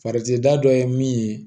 Faceda dɔ ye min ye